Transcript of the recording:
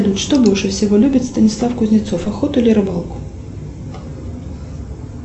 что больше всего любит станислав кузнецов охоту или рыбалку